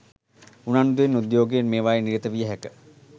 උනන්දුවෙන් උද්යෝගයෙන් මේවායේ නිරත විය හැක